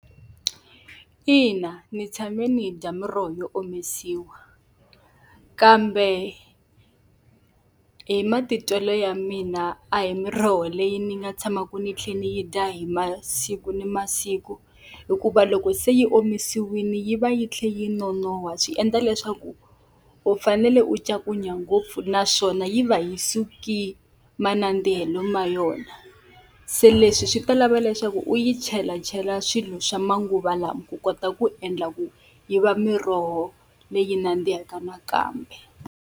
Ina ndzi tshame ndzi yi dya miroho yo omisiwa, kambe hi matitwelo ya mina a hi miroho leyi ni nga tshamaka ni tlhela ni yi dya hi masiku ni masiku. Hikuva loko se yi omisiwile yi va yi tlhela yi nonoha, swi endla leswaku u fanele u ncakunya ngopfu naswona yi va yi suki manandzikelo ma yona. Se leswi swi ta lava leswaku u yi chelachela swilo swa manguva lawa ku kota ku endla ku yi va miroho leyi nandzihaka nakambe.